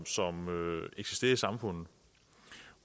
som eksisterer i samfundet